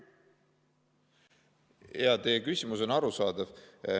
Jaa, teie küsimus on arusaadav.